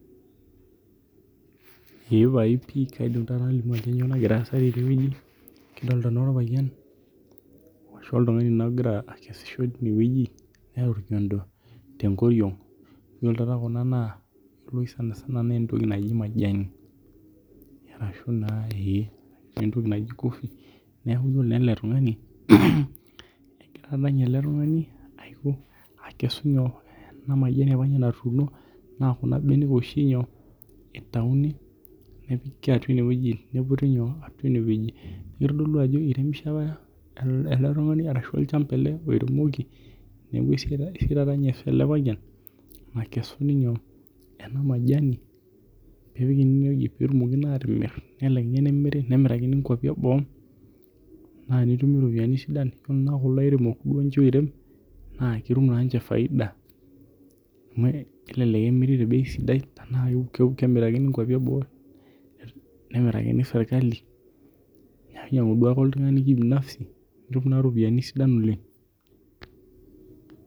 Ee pae pii kaidim naa otolimu ajo kainyoo nagira aasa teneweji kadokita naa orpayian ashu oltung'ani naa logira akesisho tineweji neeta orkiondpo te nkoriong' na ore naa ena ena naa ore oshi sanisana naa entoki naji majanj arashu naa entoki naji cofee neeku ore naa ele tung'ani egira naa ninye ele tung'ani iakesu nyoo ana majanj apaa natuno naa ninye logira ekesu itauni nepiki atua ineweji niputi atua ineweji iremishe apa ele tung'ani ashu olchamba ele oiremoki neeku eisia eesiata ninye ele payian nakesuni nyoo ele majanj nepiki atua ineweji peetomikini atimir netumok nemiri inkuapii eboo naa tenetumi irpiani sidai naji airem naa ketum na ni che faid amu kelelek emirk te bei sidai neemirakini nkuapi ebok nemurani serikali ninyang'u duake oltung'ani kibinafsi ropiani sidan oleng'